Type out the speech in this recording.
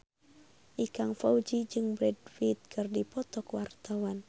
Ikang Fawzi jeung Brad Pitt keur dipoto ku wartawan